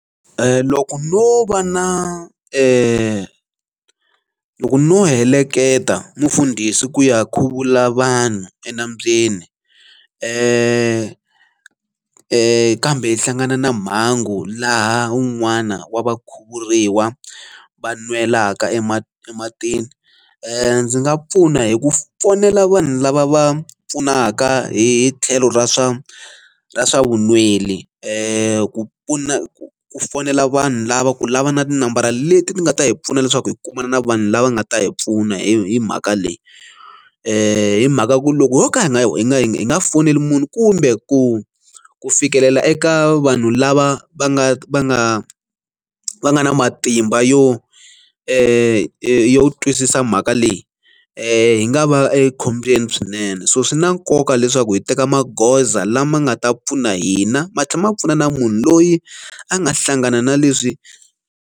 Loko no va na, loko no heleketa mufundhisi ku ya khuvula vanhu enambyeni kambe hi hlangana na mhangu laha un'wana wa vakhuvuriwa va nwelaka ematini, ndzi nga pfuna hi ku fonela vanhu lava va pfunaka hi tlhelo ra swa ra swa vunweli ku pfuna ku ku fonela vanhu lava ku lava na tinambara leti ni nga ta hi pfuna leswaku hi kumana na vanhu lava nga ta hi pfuna hi mhaka leyi. Hi mhaka ku loko ho ka hi nga, hi nga hi nga foneli munhu kumbe ku ku fikelela eka vanhu lava va nga va nga va nga na matimba yo yo twisisa mhaka leyi hi nga va ekhombyeni swinene. So swi na nkoka leswaku hi teka magoza lama nga ta pfuna hina matlhela ma pfuna na munhu loyi a nga hlangana na leswi.